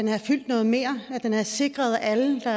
havde fyldt noget mere og sikret at alle der